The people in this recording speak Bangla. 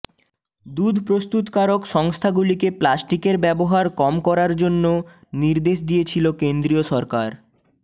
দুধ প্রস্তুতকারক সংস্থাগুলিকে প্লাস্টিকের ব্যবহার কম করার জন্য নির্দেশ দিয়েছিল কেন্দ্রীয় সরকার